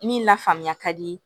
Min lafaamuya ka di